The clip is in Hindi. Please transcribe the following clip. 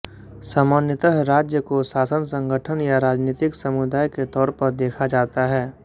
सामान्यतः राज्य को शासन संगठन या राजनीतिक समुदाय के तौर पर देखा जाता है